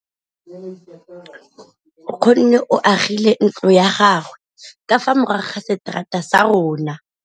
Nkgonne o agile ntlo ya gagwe ka fa morago ga seterata sa rona.